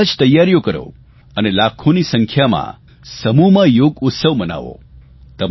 તમે બધા જ તૈયારીઓ કરો અને લાખોની સંખ્યામાં સમૂહમાં યોગ ઉત્સવ ઉજવો